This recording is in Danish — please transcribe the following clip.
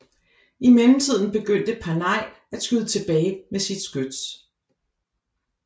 I mellemtiden begyndte Panay at skyde tilbage med sit skyts